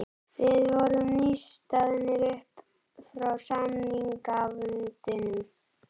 Við vorum nýstaðnir upp frá samningafundinum.